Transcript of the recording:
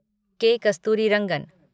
के. कस्तूरीरंगन